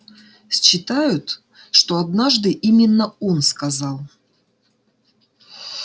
считают что однажды именно он сказал